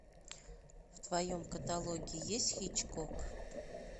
в твоем каталоге есть хичкок